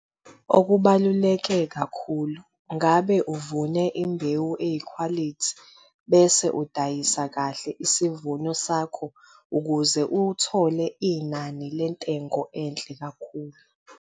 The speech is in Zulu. Okubaluleke kakhulu- Ngabe uvune imbewu eyikhwalithi bese udayisa kahle isivuno sakho ukuze uthole inani lentengo enhle kakhulu?